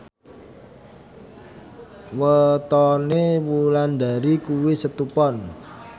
wetone Wulandari kuwi Setu Pon